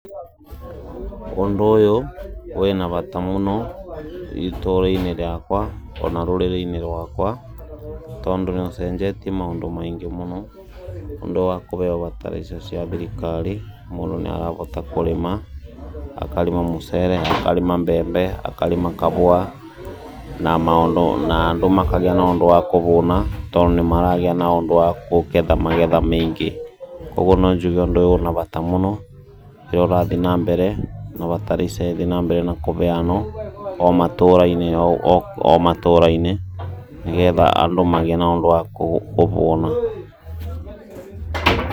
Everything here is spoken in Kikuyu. Ũndũ ũyũ wĩna bata mũno itũrainĩ rĩakwa ona rũrĩrĩinĩ rakwa tondũ nĩũcenjetie maũndũ maingĩ mũno nĩ ũndũ wa kũbeo bataraitha cia thirikari mũndũ nĩarabota kũrĩma akarĩma mũcere akarĩma mbembe akarĩma kabũa na andũ makagĩa na ũndũ wa kũbũna tondũ nĩmaragĩa na ũndũ wa gũketha magetha maingĩ kwoguo no njuge ũndũ ũyũ ũna bata mũno rĩrĩa ũrathiĩ na mbere na bataraitha ĩthĩĩ na mbere nakũbeano o matũrainĩ o matũrainĩ nĩgetha andũ magĩe na ũndũ wa kũbũna.